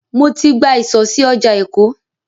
Mo ti gba ìsọ̀ sí ọjà Èkó.